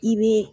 I bɛ